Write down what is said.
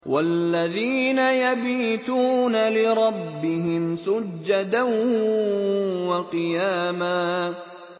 وَالَّذِينَ يَبِيتُونَ لِرَبِّهِمْ سُجَّدًا وَقِيَامًا